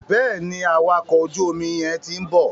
Bẹ́ẹ̀ni, awakọ̀ ojú omi yẹn ti ń bọ̀.